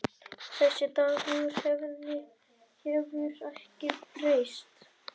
Þessi Dagur hefur ekkert breyst.